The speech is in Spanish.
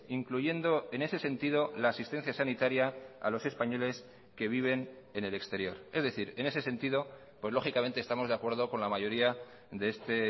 incluyendo en ese sentido la asistencia sanitaria a los españoles que viven en el exterior es decir en ese sentido pues lógicamente estamos de acuerdo con la mayoría de este